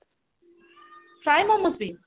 fry momos ବି